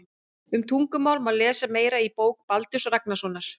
Um tungumál má lesa meira í bók Baldurs Ragnarssonar.